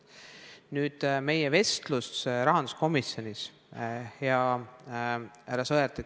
Nüüd meie vestlusest rahanduskomisjonis, hea härra Sõerd.